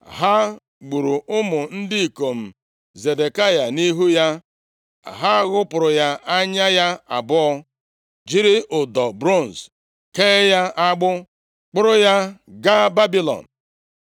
Ha gburu ụmụ ndị ikom Zedekaya nʼihu ya. Ha ghụpụrụ anya ya abụọ, jiri ụdọ bronz kee ya agbụ, kpọrọ ya gaa Babilọn.